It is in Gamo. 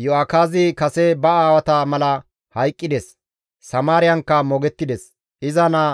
Iyo7akaazi kase ba aawata mala hayqqides; Samaariyankka moogettides; iza naa